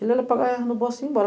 Ele no bolso e ia embora.